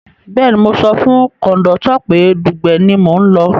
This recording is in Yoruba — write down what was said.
Bẹ́ẹ̀ni mo sọ fún kọ̀ndọ́tọ̀ pé Dugbe ni mò ń lọ